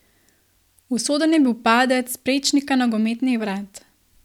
Usoden je bil padec s prečnika nogometnih vrat.